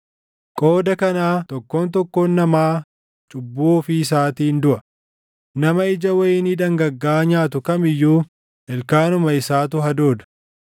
Qooda kanaa tokkoon tokkoon namaa cubbuu ofii isaatiin duʼa; nama ija wayinii dhangaggaaʼaa nyaatu kam iyyuu ilkaanuma isaatu hadooda.